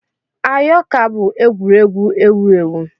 Ayo ka bụ egwuregwu ewu ewu.